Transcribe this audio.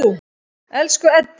Elsku Eddi.